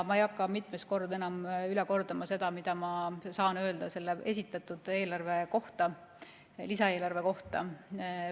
Ma ei hakka enam mitmendat korda üle kordama, mida ma saan öelda selle esitatud lisaeelarve kohta.